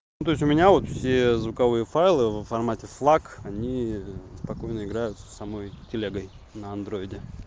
то есть у меня вот все звуковые файлы в формате флак они спокойно играют с самой телегой на андроиде